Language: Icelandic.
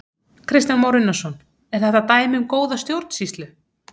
Kristján Már Unnarsson: Er þetta dæmi um góða stjórnsýslu?